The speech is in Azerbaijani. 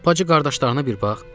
Bacı qardaşlarına bir bax.